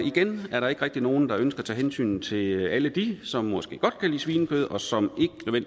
igen er der ikke rigtig nogen der ønsker at tage hensyn til alle dem som måske godt kan lide svinekød og som